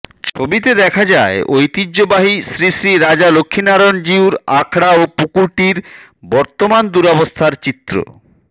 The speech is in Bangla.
ছবিতে দেখা যায় ঐতিহ্যবাহী শ্রী শ্রী রাজা লক্ষ্মীনারায়ণ জিউর আখড়া ও পুকুরটির বর্তমান দুরাবস্থার চিত্র